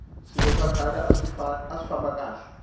swilo swa khale aswi famba kahle